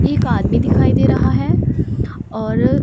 एक आदमी दिखाई दे रहा है और--